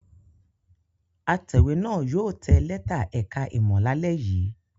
Atẹ̀wé náà yóò tẹ lẹ́tà ẹ̀ka-ìmọ̀ lálẹ́ yìí.